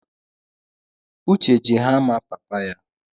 Uche ji hama papa ya